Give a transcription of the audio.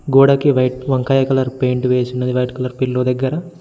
గోడకి వైట్ వంకాయ colour paint వేసినది వైట్ కలర్ పిల్లో దగ్గర.